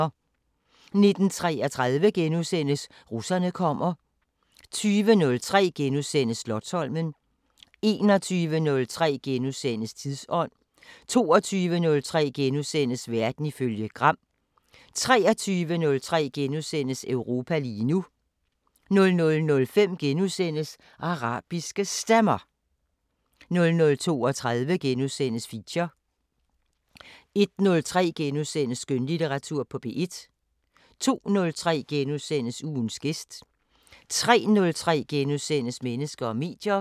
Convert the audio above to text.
19:33: Russerne kommer * 20:03: Slotsholmen * 21:03: Tidsånd * 22:03: Verden ifølge Gram * 23:03: Europa lige nu * 00:05: Arabiske Stemmer * 00:32: Feature * 01:03: Skønlitteratur på P1 * 02:03: Ugens gæst * 03:03: Mennesker og medier *